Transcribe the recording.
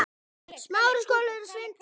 Við sváfum saman þá nótt.